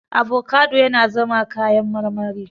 Avocado yana zama kayan marmari.